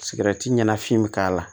Sigɛrɛti ɲana fin bɛ k'a la